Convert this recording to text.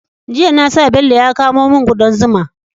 Jiya na sa Bello ya kamo mun kudar zuma